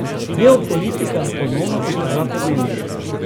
Geopolitika je ponovno postala pomembna.